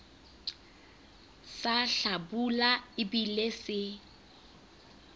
sa hlabula e bile se